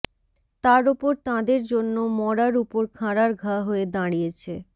তার ওপর তাঁদের জন্য মড়ার উপর খাঁড়ার ঘা হয়ে দাঁড়িয়েছে